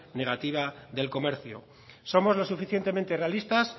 negativa del comercio somos lo suficientemente realistas